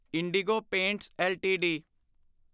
IndiGo paints LTD